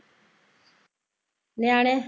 ਨਿਆਣੇ